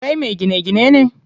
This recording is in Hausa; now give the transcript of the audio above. Kai me gine gine ne?